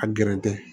A gɛrɛ tɛ